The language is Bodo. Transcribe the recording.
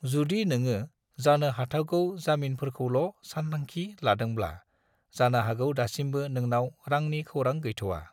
जुदि नङो जानो हाथावगौ जामिनफोरखौल' सानथांखि लादोंब्ला, जानो हागौ दासिमबो नोंनाव रांनि खौरां गैथ'वा।